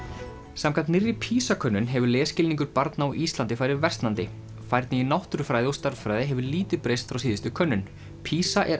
samkvæmt nýrri PISA könnun hefur lesskilningur barna á Íslandi farið versnandi færni í náttúrufræði og stærðfræði hefur lítið breyst frá síðustu könnun PISA er